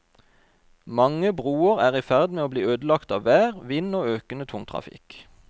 Mange broer er i ferd med å bli ødelagt av vær, vind og økende tungtrafikk.